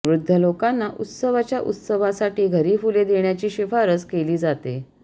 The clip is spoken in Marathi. वृद्ध लोकांना उत्सवाच्या उत्सवासाठी घरी फुले देण्याची शिफारस केली जाते